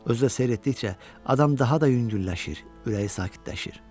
Özü də seyr etdikcə adam daha da yüngülləşir, ürəyi sakitləşir.